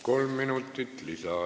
Kolm minutit lisaaega.